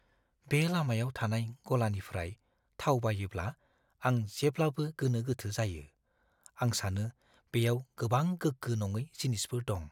बे लामायाव थानाय गलानिफ्राय थाव बायोब्ला आं जेब्लाबो गोनो-गोथो जायो। आं सानो बेयाव गोबां गोग्गो-नङै जिनिसफोर दं।